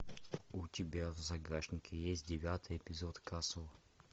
у тебя в загашнике есть девятый эпизод касл